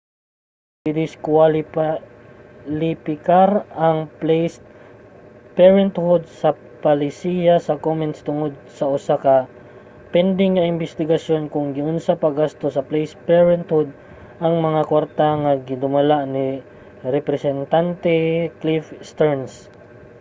gidiskuwalipikar ang placed parenthood sa palisiya sa komens tungod sa usa ka pending nga imbestigasyon kon giunsa paggasto sa placed parenthood ang mga kwarta nga ginadumala ni representante cliff stearns